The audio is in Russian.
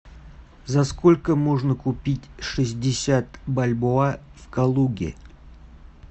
за сколько можно купить шестьдесят бальбоа в калуге